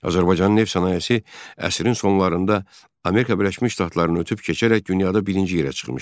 Azərbaycanın neft sənayesi əsrin sonlarında Amerika Birləşmiş Ştatlarını ötüb keçərək dünyada birinci yerə çıxmışdı.